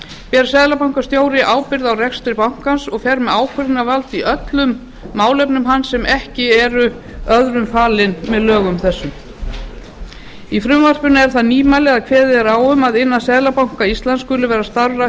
ber seðlabankastjóri ábyrgð á rekstri bankans og fer með ákvörðunarvald í öllum málefnum hans sem ekki eru öðrum falin með lögum þessum í frumvarpinu er það nýmæli að kveðið er á um að innan seðlabanka íslands skuli vera starfrækt